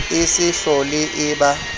e se hlole e ba